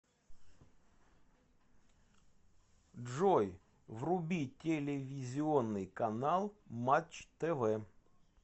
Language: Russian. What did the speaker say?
джой вруби телевизионный канал матч тв